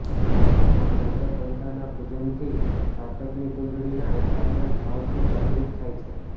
મા ચંદ્રઘંટાના પૂજનથી સાધકની કુંડળીના એકાદશ ભાવથી જાગૃત થાય છે